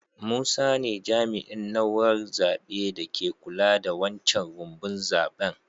Musa ne jami'in naúrar zabe da ke kulla da wancan rumbun zaben.